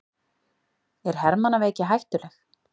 Er hermannaveiki hættuleg?